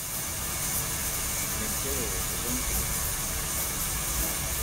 лентяево сезон три